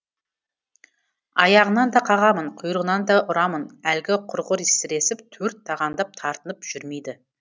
аяғынан да қағамын құйрығынан да ұрамын әлгі құрғыр сіресіп төрт тағандап тартынып жүрмейді